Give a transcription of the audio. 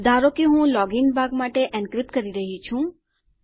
ધારો લો કે હું લોગીન ભાગ માટે એન્ક્રિપ્ટ કરી રહ્યી છું